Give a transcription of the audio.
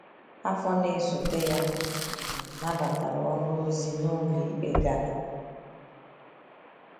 Afọ na esote ya, a um nabatara ọrụ ozi n’ụlọikpe Ghana.